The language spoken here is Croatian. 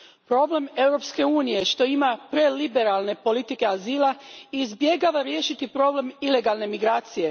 Problem Europske unije je što ima preliberalne politike azila i izbjegava riješiti problem ilegalne migracije.